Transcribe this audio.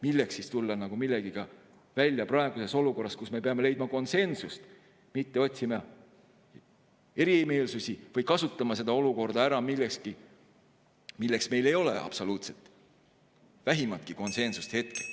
Milleks siis tulla millegagi välja praeguses olukorras, kus me peame leidma konsensuse, mitte otsima erimeelsusi või kasutama seda olukorda ära millekski, milles meil ei ole absoluutselt vähimatki konsensust hetkel.